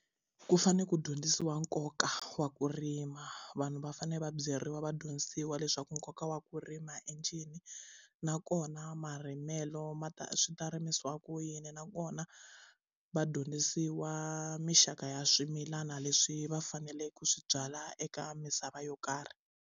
Ku fanele ku dyondzisiwa nkoka wa ku rima vanhu va fanele va byeriwa va dyondzisiwa leswaku nkoka wa ku rima i ncini nakona marimelo ma ta swi ta rimiwa ku yini nakona va dyondzisiwa mixaka ya swimilana leswi va faneleke ku swi byala eka misava yo karhi.